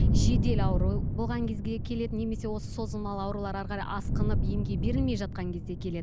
жедел ауру болған кезге келеді немесе осы созылмалы аурулар әрі қарай асқынып емге берілмей жатқан кезде келеді